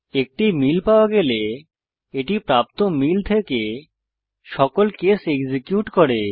একটি মিল পাওয়া গেলে এটি প্রাপ্ত মিল থেকে সকল কেস এক্সিকিউট করে